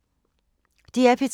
DR P3